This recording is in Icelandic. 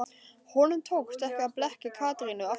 Honum tókst ekki að blekkja Katrínu aftur.